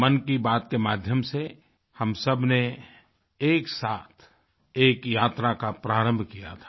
मन की बात के माध्यम से हम सबने एक साथ एक यात्रा का प्रारम्भ किया था